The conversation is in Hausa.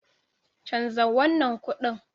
Canza wannan kuɗin.